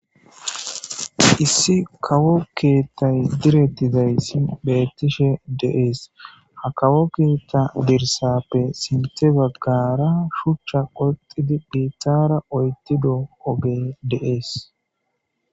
Issi kawo keettay direttizaysi bettishe deees ha kawo keeta birsappe sinte baggara shuchcha qoxidi biittara oytido oge deees.